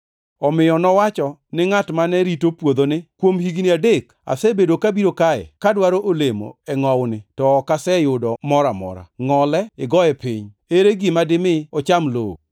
Omiyo nowacho ni ngʼat mane rito puodho ni, ‘Kuom higni adek asebedo kabiro kae ka dwaro olemo e ngʼowuni to ok aseyudo moro amora. Ngʼole igoye piny. Ere gima dimi ocham lowo?’